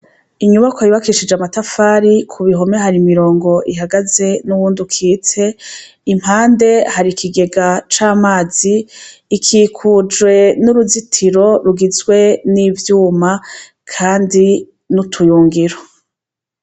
Inyubakwa yubakishije amatafari, ku bihome hari imirongo ihagaze n'uwundi ukitse, impande hari ikigega c'amazi. Ikikujwe n'uruzitiro rigizwe n'ivyuma kandi n'utuyungiro.